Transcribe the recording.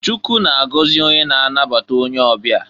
Chukwu na-agọzị onye na-anabata onye ọbịa.